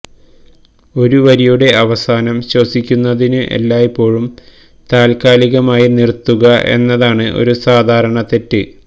ഒരു വരിയുടെ അവസാനം ശ്വസിക്കുന്നതിനു് എല്ലായ്പ്പോഴും താൽക്കാലികമായി നിറുത്തുക എന്നതാണ് ഒരു സാധാരണ തെറ്റ്